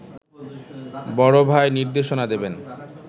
বড় ভাই নির্দেশনা দেবেন